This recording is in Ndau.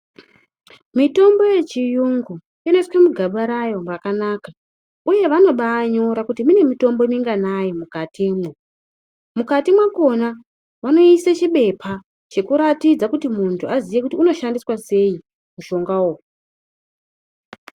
Mitombo yechiyungu inoiswe mugaba rayo , rakanaka uye vanobainyora kuti mune mitombo minganayi mukatimo mukati makona munoiswe chipepa ,chekuratidza kuti muntu kuti azive inoshandiswa seii mushonga uyu.